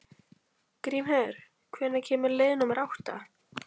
Grímheiður, hvenær kemur leið númer átta?